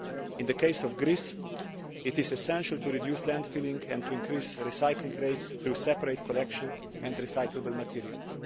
In the case of Greece, it is essential to reduce landfill and to increase recycling rates through separate collection and recyclable materials.